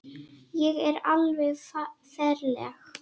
Ég er alveg ferleg.